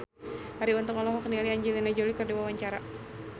Arie Untung olohok ningali Angelina Jolie keur diwawancara